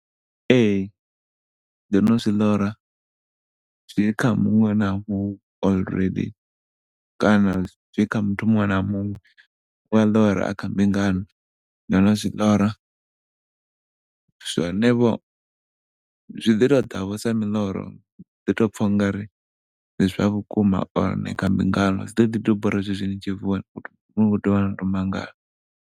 Ee, ndo no zwi ḽora zwi kha muṅwe na muṅwe kana zwi kha muthu muṅwe na muṅwe, u a ḽora a kha mbingano. Ndo no zwi ḽora, zwone vho zwi ḓi to ḓa vho sa muḽoro u ḓi tou pfa u ngari ndi zwa vhukuma or ni kha mbingano zwi ḓoḓi tou bora zwezwi ni tshi vuwa mangala.